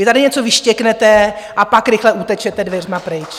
Vy tady něco vyštěknete, a pak rychle utečete dveřmi pryč.